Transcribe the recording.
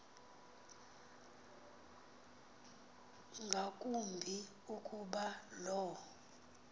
ngakumbi ukuba lo